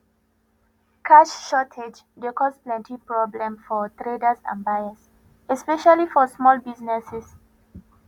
cash shortage dey cause plenty problem for traders and buyers especially for small businesses